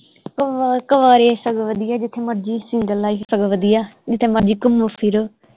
ਕਵ ਕੁਵਾਰੇ ਸਗੋਂ ਵਧੀਆ ਜਿਥੇ ਮਰਜੀ ਸਿੰਗਲ ਲਾਈਫ ਸਗੋਂ ਵਧੀਆ ਜਿੱਥੇ ਮਰਜੀ ਘੁੰਮੋ ਫਿਰੋ